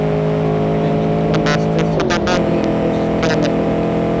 এ তার লেগে দেওয়া লাগে নাকি